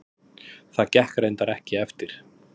Það gekk reyndar ekki eftir.